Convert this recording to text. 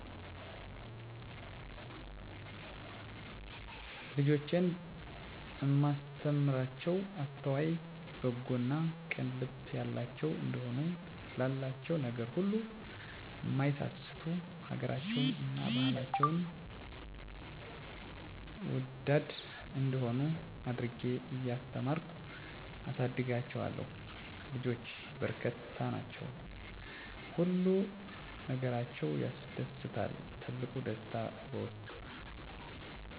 ልጆቼን እማስተምራቸዉ አስተዋይ፣ በጎ እና ቅን ልብ ያላቸዉ እንዲሆኑ፣ ላላቸዉ ነገር ሁሉ እማይሳስቱ፣ ሀገራቸዉን እና ባህላቸዉን ወዳድ እንዲሆነ አድርጌ እያስተማርኩ አሳድጋቸዋለሁ። ልጆች በረከት ናቸዉ። ሁሉ ነገራቸዉ ያስደስታል ትልቁ ደስታየ በዉስጣችዉ ምንም ክፋት ስለላቸዉ፣ ንፁ ልብ ስላላቸዉ ሁሌም ደስታን ያመጣሉ። ልጆች ማሳደግ ከባዱ ሙሉ ጊዜሽን መስጠት ግድ ነዉ፣ እነሱን በስነስርአት ለማሳደግ የኢኮኖሚ ችግር፣ ሲታመሙ ይሄን አመመኝ ብለዉ ስለማይናገሩ እነዚህ ነገሮች ከባድ ናቸዉ።